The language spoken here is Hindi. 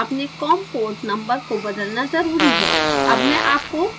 अतः अपने com port number को बदलना ज़रूरी है